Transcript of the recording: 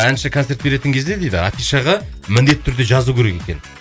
әнші концерт беретін кезде дейді афишаға міндетті түрде жазу керек екен